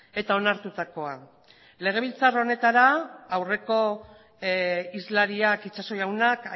eta onartutakoa legebiltzar honetara aurreko hizlariak itxaso jaunak